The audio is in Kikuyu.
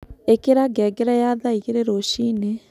ĩkĩra ngengere ya thaa ĩgĩrĩ rũcĩĩnĩ